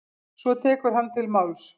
Svo tekur hann til máls: